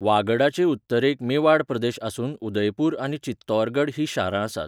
वागडाचे उत्तरेक मेवाड प्रदेश आसून उदयपूर आनी चित्तौरगड हीं शारां आसात.